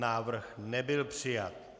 Návrh nebyl přijat.